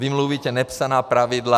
Vy mluvíte nepsaná pravidla.